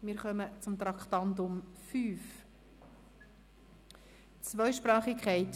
Wir kommen zum Traktandum 5, einer Motion mit dem Titel «Zweisprachigkeit: